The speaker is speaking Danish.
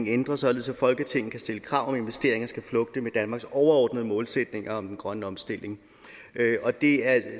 ændres således at folketinget kan stille krav om at investeringer skal flugte med danmarks overordnede målsætninger om den grønne omstilling det er